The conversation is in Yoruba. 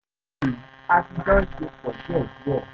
ní báyìí a ti jọ ń ṣe pọ̀ díẹ̀díẹ̀